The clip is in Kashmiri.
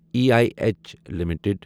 E I H limited